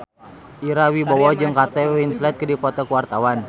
Ira Wibowo jeung Kate Winslet keur dipoto ku wartawan